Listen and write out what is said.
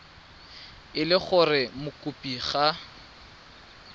e le gore mokopi ga